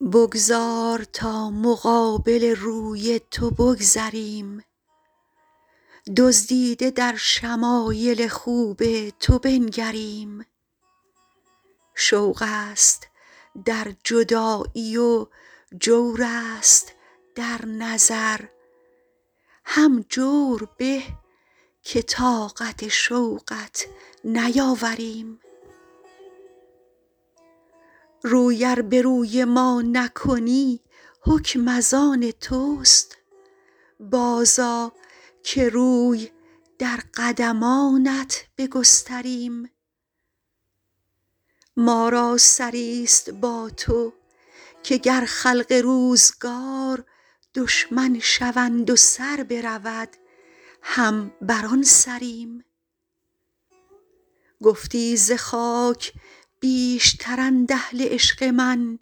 بگذار تا مقابل روی تو بگذریم دزدیده در شمایل خوب تو بنگریم شوق است در جدایی و جور است در نظر هم جور به که طاقت شوقت نیاوریم روی ار به روی ما نکنی حکم از آن توست بازآ که روی در قدمانت بگستریم ما را سری ست با تو که گر خلق روزگار دشمن شوند و سر برود هم بر آن سریم گفتی ز خاک بیشترند اهل عشق من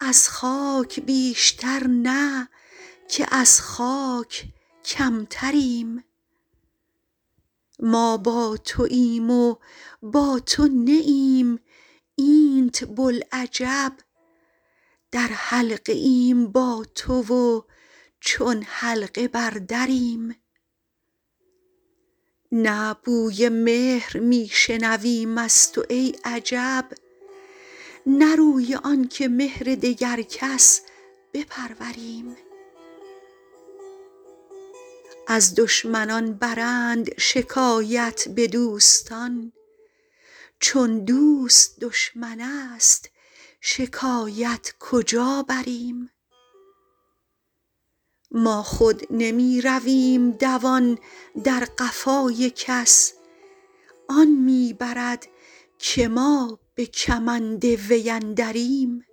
از خاک بیشتر نه که از خاک کمتریم ما با توایم و با تو نه ایم اینت بلعجب در حلقه ایم با تو و چون حلقه بر دریم نه بوی مهر می شنویم از تو ای عجب نه روی آن که مهر دگر کس بپروریم از دشمنان برند شکایت به دوستان چون دوست دشمن است شکایت کجا بریم ما خود نمی رویم دوان در قفای کس آن می برد که ما به کمند وی اندریم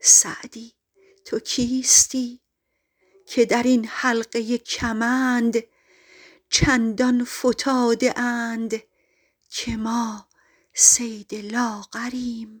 سعدی تو کیستی که در این حلقه کمند چندان فتاده اند که ما صید لاغریم